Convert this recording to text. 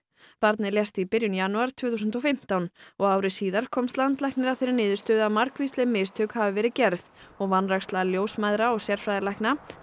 barnið lést í byrjun janúar tvö þúsund og fimmtán og ári síðar komst landlæknir að þeirri niðurstöðu að margvísleg mistök hafi verið gerð og vanræksla ljósmæðra og sérfræðilækna